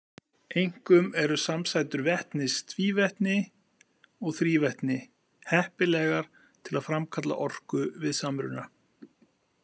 Einkum eru samsætur vetnis, tvívetni og þrívetni heppilegar til að framkalla orku við samruna.